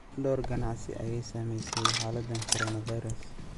Dhowr ganacsi ayaa ay saamaysay xaaladdan coronavirus.